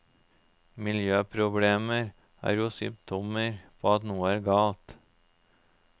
Miljøproblemer er jo symptomer på at noe er galt.